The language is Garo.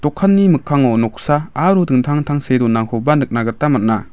mikkango noksa aro dingtang dingtang see donakoba nikna gita man·a.